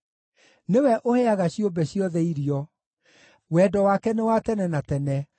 nĩwe ũheaga ciũmbe ciothe irio. Wendo wake nĩ wa tene na tene.